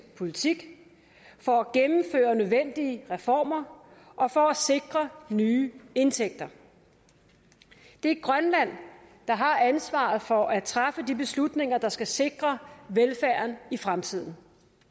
politik for at gennemføre nødvendige reformer og for at sikre nye indtægter det er grønland der har ansvaret for at træffe de beslutninger der skal sikre velfærden i fremtiden